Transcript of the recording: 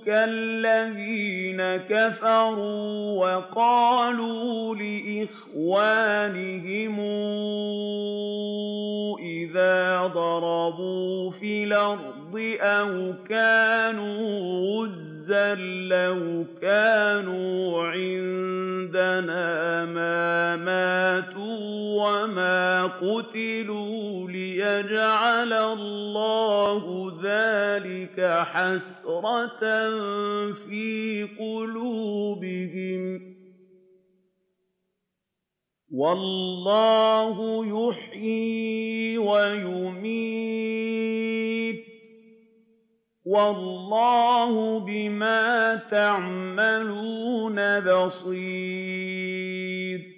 كَالَّذِينَ كَفَرُوا وَقَالُوا لِإِخْوَانِهِمْ إِذَا ضَرَبُوا فِي الْأَرْضِ أَوْ كَانُوا غُزًّى لَّوْ كَانُوا عِندَنَا مَا مَاتُوا وَمَا قُتِلُوا لِيَجْعَلَ اللَّهُ ذَٰلِكَ حَسْرَةً فِي قُلُوبِهِمْ ۗ وَاللَّهُ يُحْيِي وَيُمِيتُ ۗ وَاللَّهُ بِمَا تَعْمَلُونَ بَصِيرٌ